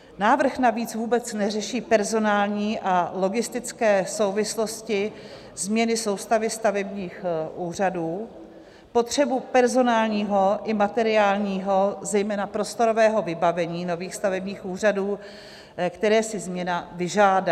Návrh navíc vůbec neřeší personální a logistické souvislosti změny soustavy stavebních úřadů, potřebu personálního i materiálního, zejména prostorového vybavení nových stavebních úřadů, které si změna vyžádá.